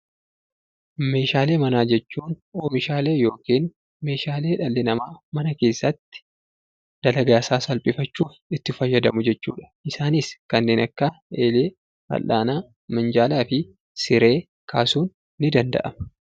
Meeshaalee manaa jechuun oomishaalee yookiin meeshaalee dhalli namaa mana keessatti dalagaa isaa salphifachuuf itti fayyadamu jechuudha. Isaanis kanneen akka: eelee, fal'aana, minjaalaa fi siree kaasuun ni danda'ama.